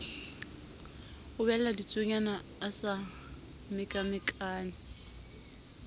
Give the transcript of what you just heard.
ubella ditsuonyana a sa mekamekane